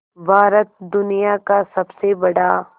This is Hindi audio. भारत दुनिया का सबसे बड़ा